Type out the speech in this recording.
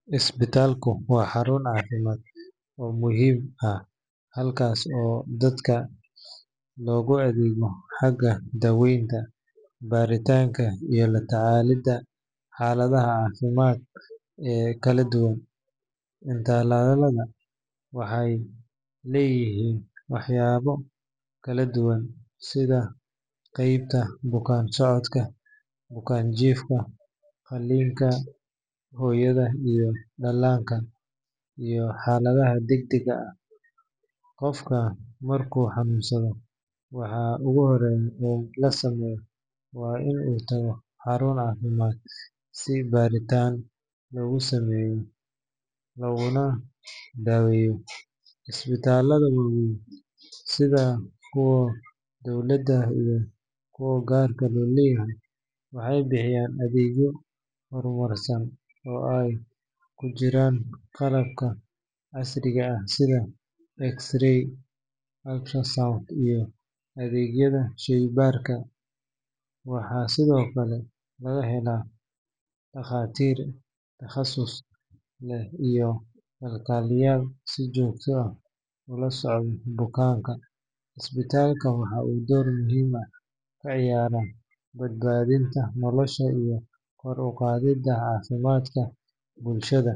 Isbitaalku waa xarun caafimaad oo muhiim ah halkaas oo dadka loogu adeego xagga daaweynta, baaritaanka iyo la tacaalidda xaaladaha caafimaad ee kala duwan. Isbitaalada waxay leeyihiin waaxyo kala duwan sida qaybta bukaan-socodka, bukaan-jiifka, qalliinka, hooyada iyo dhallaanka, iyo xaaladaha degdega ah. Qofka markuu xanuunsado, waxa ugu horreeya ee la sameeyo waa in uu tago xarun caafimaad si baaritaan loogu sameeyo laguna daweeyo. Isbitaalada waaweyn sida kuwa dowladda iyo kuwa gaarka loo leeyahay waxay bixiyaan adeegyo horumarsan oo ay ku jiraan qalabka casriga ah sida X-ray, ultrasound iyo adeegyada shaybaarka. Waxaa sidoo kale laga helaa dhakhaatiir takhasus leh iyo kalkaaliyeyaal si joogto ah ula socda bukaanka. Isbitaalka waxa uu door muhiim ah ka ciyaaraa badbaadinta nolosha iyo kor u qaadidda caafimaadka bulshada.